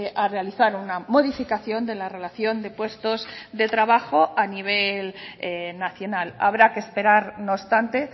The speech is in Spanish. a realizar una modificación de la relación de puestos de trabajo a nivel nacional habrá que esperar no obstante